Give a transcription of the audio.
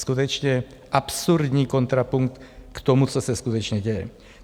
Skutečně absurdní kontrapunkt k tomu, co se skutečně děje.